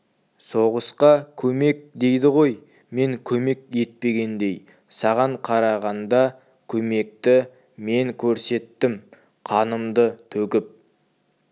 соғысқа көмек дейді ғой мен көмек етпегендей саған қарағанда көмекті мен көрсеттім қанымды төгіп